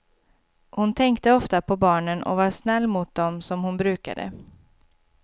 Hon tänkte ofta på barnen och var snäll mot dem som hon brukade.